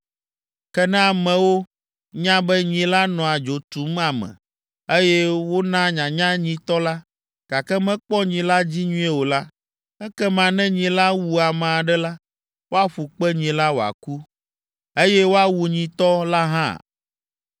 Ke ne amewo nya be nyi la nɔa dzo tum ame, eye wona nyanya nyitɔ la, gake mekpɔ nyi la dzi nyuie o la, ekema ne nyi la wu ame aɖe la, woaƒu kpe nyi la wòaku, eye woawu nyitɔ la hã.